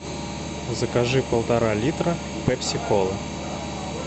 закажи полтора литра пепси колы